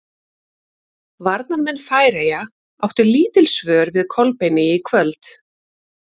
Varnarmenn Færeyja áttu lítil svör við Kolbeini í kvöld.